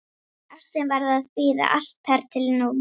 Ástin varð að bíða, allt þar til nú.